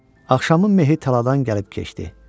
Axşamın mehi taladan gəlib keçdi.